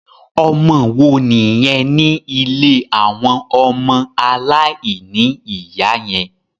Ọmọ wo nìyẹn ní ilé àwọn ọmọ aláìníìyá yẹn?